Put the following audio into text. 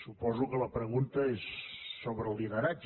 suposo que la pregunta és sobre el lideratge